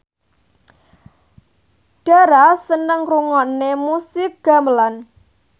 Dara seneng ngrungokne musik gamelan